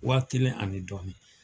Waa kelen ani dɔɔni